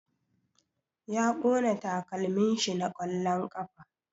Ya ƙona takalmin shi na ƙwallon ƙafa